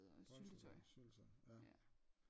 Pålægschokolade syltetøj ja